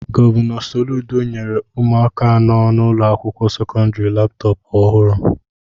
Gọvanọ Soludo nyere ụmụaka nọ n'ụlọ akwụkwọ sekọndrị Laptọpu ọhụrụ.